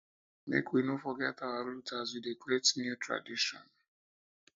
make we no forget our root as we dey create new new tradition